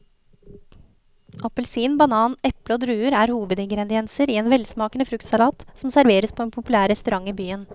Appelsin, banan, eple og druer er hovedingredienser i en velsmakende fruktsalat som serveres på en populær restaurant i byen.